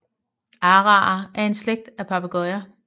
Araer er en slægt af papegøjer